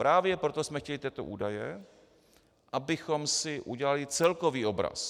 Právě proto jsme chtěli tyto údaje, abychom si udělali celkový obraz.